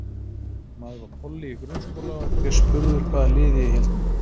Maður var polli í grunnskóla og var ég spurður hvaða liði ég héldi með.